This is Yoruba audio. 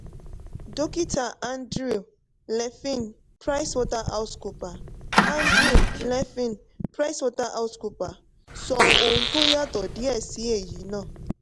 dókítà andrew nevin pricewaterhousecooper andrew nevin pricewaterhousecooper sọ ohun tó yàtọ̀ díẹ̀ sí èyí náà.